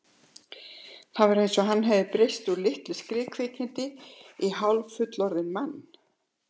Það var eins og hann hefði breyst úr litlu skriðkvikindi í hálffullorðinn mann.